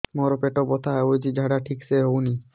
ମୋ ପେଟ ବଥା ହୋଉଛି ଝାଡା ଠିକ ସେ ହେଉନି